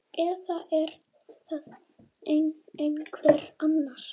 Eða er það einhver annar?